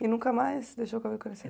E nunca mais deixou o cabelo crescer?